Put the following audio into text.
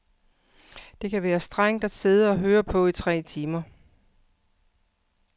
Det kan være strengt at sidde og høre på i tre timer.